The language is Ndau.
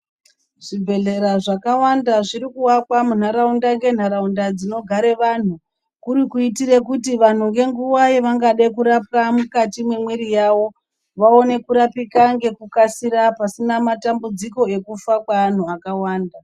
Zvibhedhlera zvakawanda zviri kuakwa munharaunda ngenharaunda dzinogare vanhu, kuri kuitire kuti vanhu ngenguwa yevangade kurapwa mukati mwemwiri yavo, vaone kurapika ngekukasira pasina matambudziko ekufa kweanhu akawanda.